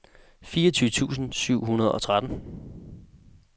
fireogtyve tusind syv hundrede og tretten